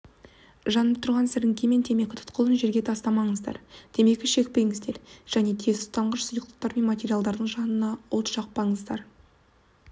жанып тұрған сіреңке мен темекі тұқылын жерге тастамаңыздар темекі шекпеңіздер және тез тұтанғыш сұйықтар мен материалдардың жанында от жақпаңыздар